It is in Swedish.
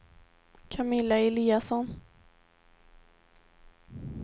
Camilla Eliasson